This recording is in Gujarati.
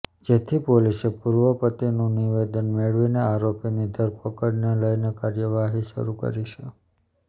જેથી પોલીસે પૂર્વ પતિનુ નિવેદન મેળવીને આરોપીની ધરપકડને લઈને કાર્યવાહી શરૂ કરી છે